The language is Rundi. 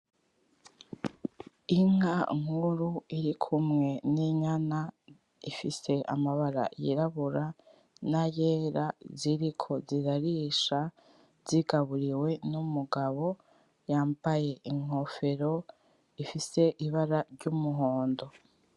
Inka nkuru iri kumwe n'inyana ifise amabara y'irabura nayera ziriko zirarisha zigaburiwe n'umugabo yambaye inkofero ifise ibara ry'umuhondo.